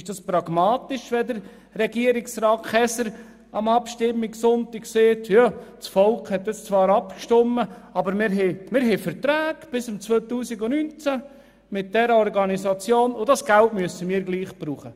Ist es pragmatisch, wenn Regierungsrat Käser am Abstimmungssonntag sagt, das Volk habe das zwar beschlossen, aber wir hätten mit dieser Organisation Verträge bis 2019, deshalb müsse das Geld gleichwohl gebraucht werden?